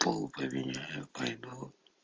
пол поменяю пойду